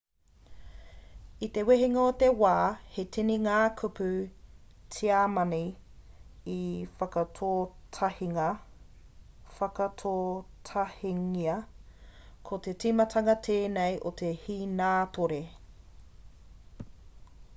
i te wehenga o te wā he tini ngā kupu tiamani i whakakotahingia ko te timatanga tēnei o te hīnātore